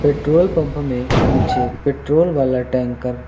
petrol pump में पीछे petrol वाला टैंकर --